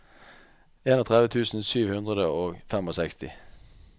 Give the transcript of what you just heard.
trettien tusen sju hundre og sekstifem